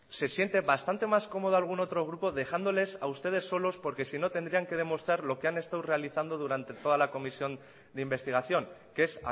se siente bastante más cómodo algún otro grupo dejándoles a ustedes solos porque si no tendrían que demostrar lo que han estado realizando durante toda la comisión de investigación que es